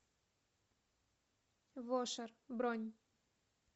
вошер бронь